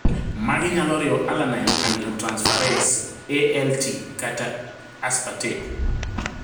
Magi nyalo riwo alanine aminotransferase (ALT) kata aspartate